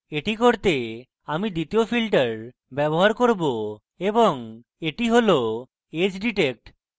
এটি করতে আমি দ্বিতীয় filter ব্যবহার করব এবং এটি হল edge detect